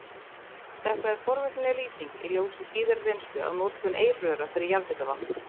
Þetta er forvitnileg lýsing í ljósi síðari reynslu af notkun eirröra fyrir jarðhitavatn.